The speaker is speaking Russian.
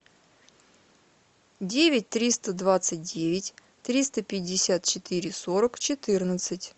девять триста двадцать девять триста пятьдесят четыре сорок четырнадцать